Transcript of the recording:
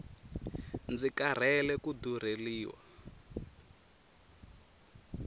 ndzi karhele ku durheliwa